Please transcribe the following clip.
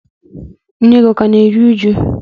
Nne gị ọ ka na-eru uju?